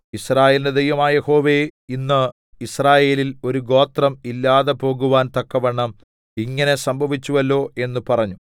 യിസ്രായേലിന്റെ ദൈവമായ യഹോവേ ഇന്ന് യിസ്രായേലിൽ ഒരു ഗോത്രം ഇല്ലാതെപോകുവാൻ തക്കവണ്ണം ഇങ്ങനെ സംഭവിച്ചുവല്ലോ എന്ന് പറഞ്ഞു